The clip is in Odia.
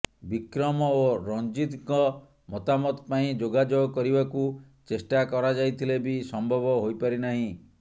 ବିକ୍ରମ ଓ ରଞ୍ଜିତଙ୍କ ମତାମତ ପାଇଁ ଯୋଗାଯୋଗ କରିବାକୁ ଚେଷ୍ଟା କରାଯାଇଥିଲେ ବି ସମ୍ଭବ ହୋଇପାରିନାହିଁ